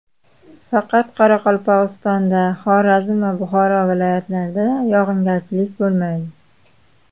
Faqat Qoraqalpog‘istonda, Xorazm va Buxoro viloyatlarida yog‘ingarchilik bo‘lmaydi.